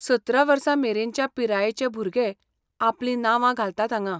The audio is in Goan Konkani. सतरा वर्सां मेरेनच्या पिरायेचे भुरगे आपलीं नावां घालतात हांगां.